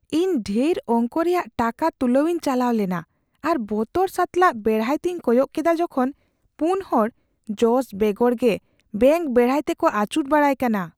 ᱤᱧ ᱰᱷᱮᱨ ᱚᱝᱠᱚ ᱨᱮᱭᱟᱜ ᱴᱟᱠᱟ ᱛᱩᱞᱟᱹᱣ ᱤᱧ ᱪᱟᱞᱟᱣ ᱞᱮᱱᱟ ᱟᱨ ᱵᱚᱛᱚᱨ ᱥᱟᱛᱟᱞᱟᱜ ᱵᱮᱲᱦᱟᱭ ᱛᱮᱧ ᱠᱚᱭᱚᱜ ᱠᱮᱫᱟ ᱡᱚᱠᱷᱚᱱ ᱔ ᱦᱚᱲ ᱡᱚᱥ ᱵᱮᱜᱚᱨ ᱜᱮ ᱵᱮᱝᱠ ᱵᱮᱲᱦᱟᱭ ᱛᱮᱠᱚ ᱟᱹᱪᱩᱨ ᱵᱟᱲᱟᱭ ᱠᱟᱱᱟ ᱾